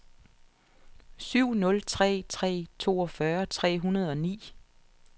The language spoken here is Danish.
syv nul tre tre toogfyrre tre hundrede og ni